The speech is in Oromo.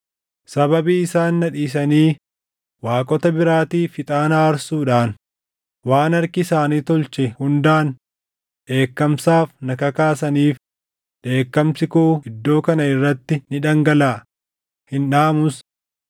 Sababii isaan na dhiisanii waaqota biraatiif ixaana aarsuudhaan waan harki isaanii tolche hundaan dheekkamsaaf na kakaasaniif dheekkamsi koo iddoo kana irratti ni dhangalaʼa; hin dhaamus.’